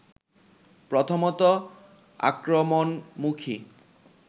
প্রথমত আক্রমণমুখী